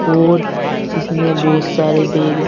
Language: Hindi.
और इसमें बहुत सारे बैग --